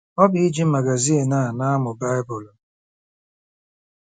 Ọ bụ iji magazin a na-amụ Baịbụl.